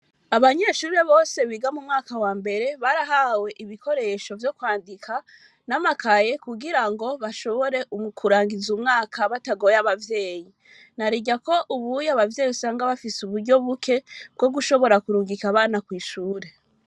Abanyeshure Bose biga mu mwaka wambere barahawe ibikoresho vyo kwandi n,amakaye kugira ngo bashobore kurangiza umwaka batagoye abavyeyi narirya ko ubu uye abavyeyi usanga bafise uburyo buke bwo kurungika abana kw,ishure